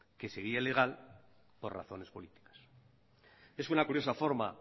que sería ilegal por razones políticas es una curiosa forma